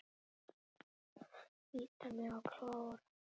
Bíta mig og klóra.